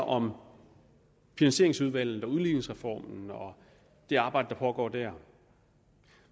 om finansieringsudvalget og udligningsreformen og det arbejde der pågår der